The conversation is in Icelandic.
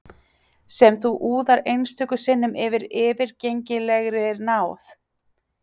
Sem þú úðar einstöku sinnum af yfirgengilegri náð.